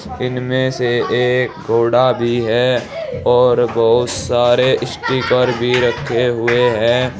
इनमें से एक घोड़ा भी है और बहुत सारे स्टीकर भी रखे हुए हैं।